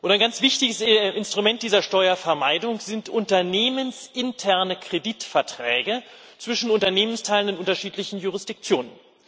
Ein ganz wichtiges Instrument dieser Steuervermeidung sind unternehmensinterne Kreditverträge zwischen Unternehmensteilen in unterschiedlichen Jurisdiktionen.